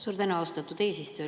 Suur tänu, austatud eesistuja!